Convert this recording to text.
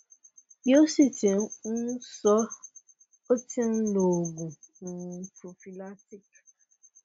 bi o si ti um sọ o ti n lo oògùn um prophylactic